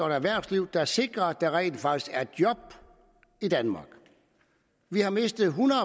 og erhvervslivet der sikrer at der rent faktisk er job i danmark vi har mistet ethundrede